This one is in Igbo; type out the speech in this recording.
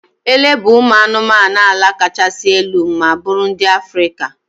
Ele bụ ụmụ anụmanụ ala kachasị elu ma bụrụ ndị Africa.